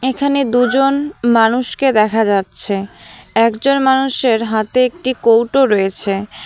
এখানে দুজন মানুষকে দেখা যাচ্ছে একজন মানুষের হাতে একটি কৌটো রয়েছে।